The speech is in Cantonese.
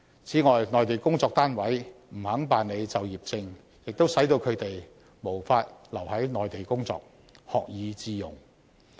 此外，內地工作單位不肯辦理就業證，亦使到他們無法留在內地工作，學以致用。